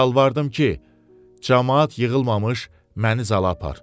Yalvardım ki, camaat yığılmış məni zala apar.